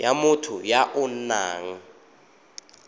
ya motho ya o nang